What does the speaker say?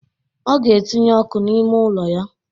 Ọ ga etinye ọkụ n'ime ụlọ ya